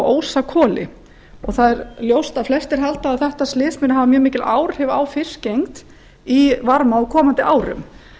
og ósakoli það er ljóst að flestir halda að þetta slys muni hafa mjög mikil áhrif á fiskigengd í varmá á komandi árum